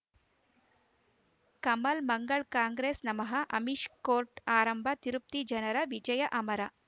ಕಮಲ್ ಮಂಗಳ್ ಕಾಂಗ್ರೆಸ್ ನಮಃ ಅಮಿಷ್ ಕೋರ್ಟ್ ಆರಂಭ ತಿರುಪತಿ ಜನರ ವಿಜಯ ಅಮರ